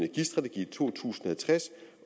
i to tusind